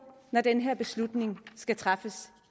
når den her beslutning skal træffes